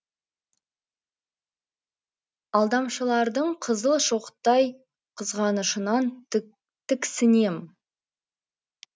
алдамшылардың қызыл шоқтай қызғанышынан тіксінем